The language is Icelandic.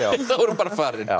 þá er hún bara farin